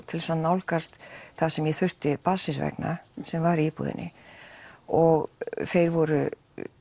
til þess að nálgast það sem ég þurfti barnsins vegna sem var í íbúðinni og þeir voru